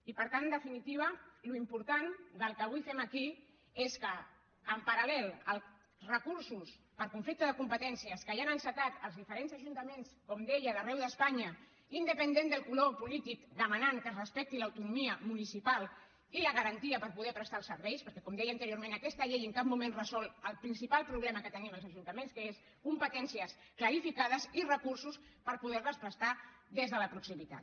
i per tant en definitiva l’important del que avui fem aquí és que en paral·lel als recursos per conflicte de competències que ja han encetat els diferents ajuntaments com deia d’arreu d’espanya independentment del color polític en què demanen que es respecti l’autonomia municipal i la garantia per poder prestar els serveis perquè com deia anteriorment aquesta llei en cap moment resol el principal problema que tenim els ajuntaments que són competències clarificades i recursos per poder les prestar des de la proximitat